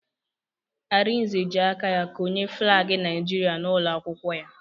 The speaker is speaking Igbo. Arinze ji aka ya konye flaagi Naijiria n'ụlọ akwụkwọ ya